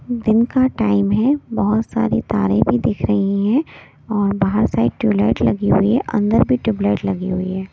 दिन का टाइम है बहुत सारी तारे भी दिख रही हैं और बाहर साइड ट्यूबलाइट लगी हुई है अंदर भी ट्यूबलाइट लगी हुई है।